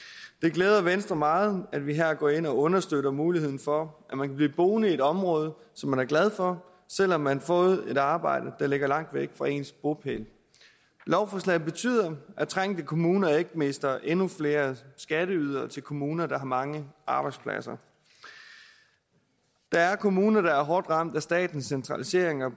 glæder venstre meget at vi her går ind og understøtter muligheden for at man kan blive boende i et område som man er glad for selv om man har fået et arbejde der ligger langt væk fra ens bopæl lovforslaget betyder at trængte kommuner ikke mister endnu flere skatteydere til kommuner der har mange arbejdspladser der er kommuner der er hårdt ramt af statens centraliseringer